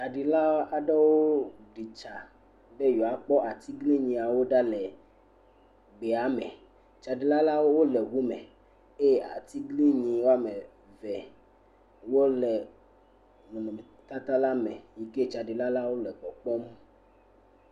Tsaɖila aɖewo ɖi tsa be yewoakpɔ atiglinyi aɖewo ɖa le gbea me, tsaɖilawo le ŋu me eye atiglinyi woame eve wole nɔnɔmetata la me yi ke tsaɖilawo le kpɔkpɔm.